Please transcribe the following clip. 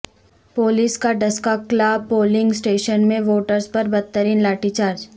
police کا Daska Kalan polling station میں ووٹرز پر بدترین لاٹھی چارج